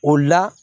O la